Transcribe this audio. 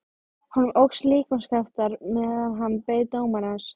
Honum óx líkamskraftur meðan hann beið dómarans.